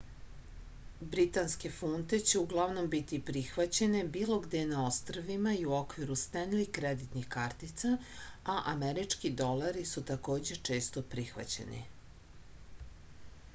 britanske funte će uglavnom biti prihvaćene bilo gde na ostrvima i u okviru stenli kreditnih kartica a američki dolari su takođe često prihvaćeni